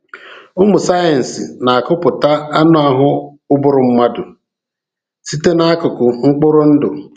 Ụmụ sayensị na-akụpụta anụ ahụ ụbụrụ mmadụ site n’akụkụ mkpụrụ ndụ.